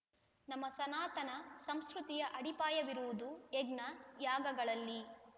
ನಮ್ಮ ಸನಾತನ ಸಂಸ್ಕೃತಿಯ ಅಡಿಪಾಯವಿರುವುದು ಯಜ್ಞ ಯಾಗಗಳಲ್ಲಿ